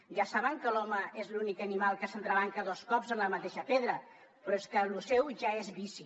ja saben que l’home és l’únic animal que s’entrebanca dos cops en la mateixa pedra però és que això seu ja és vici